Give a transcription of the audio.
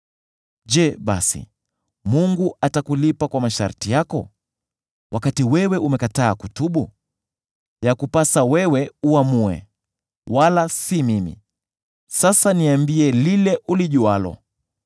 Je basi, Mungu atakulipa kwa masharti yako, wakati wewe umekataa kutubu? Yakupasa wewe uamue, wala si mimi; sasa niambie lile ulijualo.